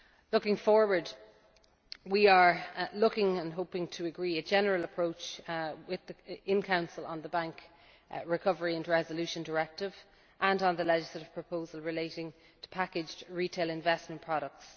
same. Looking forward, we are looking to agree a general approach in the Council on the Bank Recovery and Resolution Directive and on the legislative proposal relating to packaged retail investment products.